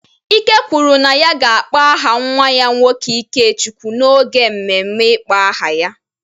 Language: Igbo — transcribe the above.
Ike kwuru na ya ga-akpọ aha nwa ya nwoke Ikechukwu n’oge mmemme ịkpọ aha ya.